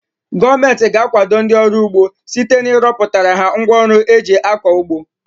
Gọọmenti ga-akwado ndị ọrụ ugbo site na ịrọpụtara ha ngwa ọrụ eji akọ ugbo.